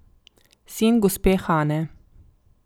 Sin gospe Hane.